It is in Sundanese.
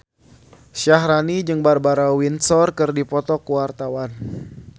Syaharani jeung Barbara Windsor keur dipoto ku wartawan